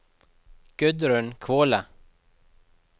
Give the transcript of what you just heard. Gudrun Kvåle